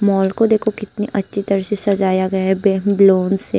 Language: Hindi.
मॉल को देखो कितनी अच्छी तरह से सजाया गया है बैलून से।